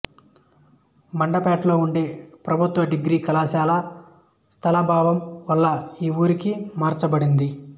మండపేటలో ఉండే ప్రభుత్వ డిగ్రీ కళాశాల స్థలాభావం వల్ల ఈ ఊరికి మార్చబడింది